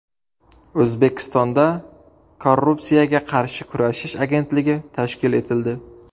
O‘zbekistonda Korrupsiyaga qarshi kurashish agentligi tashkil etildi.